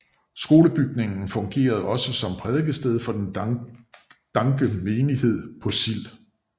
Skolebygningen fungerede også som prædikested for den danke menighed på Sild